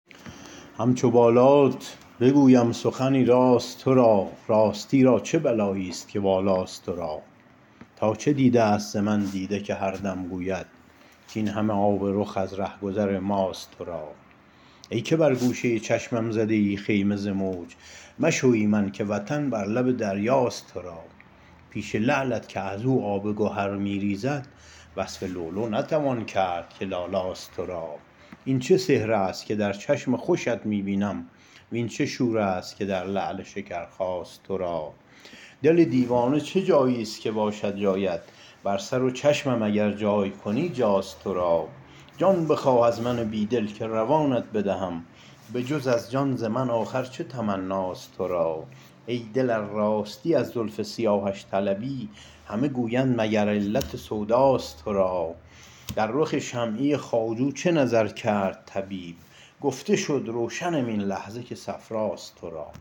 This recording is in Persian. همچو بالات بگویم سخنی راست تو را راستی را چه بلاییست که بالاست تو را تا چه دیدست ز من دیده که هر دم گوید کاین همه آب رخ از رهگذر ماست تو را ای که بر گوشه ی چشمم زده ای خیمه ز موج مشو ایمن که وطن بر لب دریاست تو را پیش لعلت که از او آب گهر می ریزد وصف لؤلؤ نتوان کرد که لالاست تو را این چه سحرست که در چشم خوشت می بینم وین چه شورست که در لعل شکرخاست تو را دل دیوانه چه جاییست که باشد جایت بر سر و چشمم اگر جای کنی جاست تو را جان بخواه از من بیدل که روانت بدهم به جز از جان ز من آخر چه تمناست تو را ای دل ار راستی از زلف سیاهش طلبی همه گویند مگر علت سوداست تو را در رخ شمعی خواجو چو نظر کرد طبیب گفت شد روشنم این لحظه که صفراست تو را